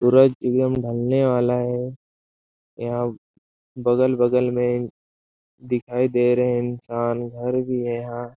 सूरज एवं ढलने वाला है यहाँ बगल-बगल में दिखाई दे रहै है इंसान घर भी है यहाँ --